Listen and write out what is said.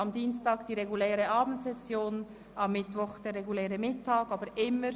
Am Dienstag findet die reguläre Abendsession und am Mittwoch die reguläre Nachmittagssitzung statt.